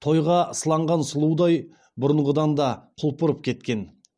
тойға сыланған сұлудай бұрынғыдан да құлпырып кеткен